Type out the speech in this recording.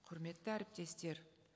құрметті әріптестер